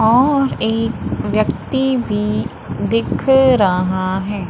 और एक व्यक्ति भी दिख रहा है।